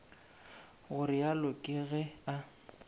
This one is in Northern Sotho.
go realo ke ge a